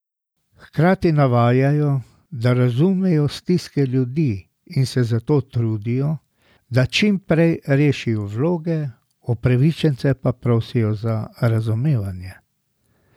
Hkrati navajajo, da razumejo stiske ljudi in se zato trudijo, da čim prej rešijo vloge, upravičence pa prosijo za razumevanje.